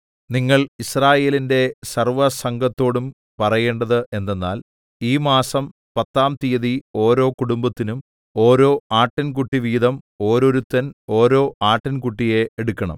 നിങ്ങൾ യിസ്രായേലിന്റെ സർവ്വസംഘത്തോടും പറയേണ്ടത് എന്തെന്നാൽ ഈ മാസം പത്താം തീയതി ഓരോ കുടുംബത്തിനും ഓരോ ആട്ടിൻകുട്ടി വീതം ഓരോരുത്തൻ ഓരോ ആട്ടിൻകുട്ടിയെ എടുക്കണം